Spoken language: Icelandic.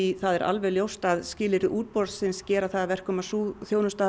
það er alveg ljóst að skilyrði útboðs gera það að verkum að sú þjónusta